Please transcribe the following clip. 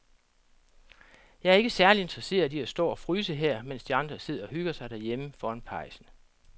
Jeg er ikke særlig interesseret i at stå og fryse her, mens de andre sidder og hygger sig derhjemme foran pejsen.